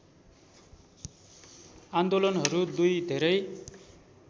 आन्दोलनहरू दुई धेरै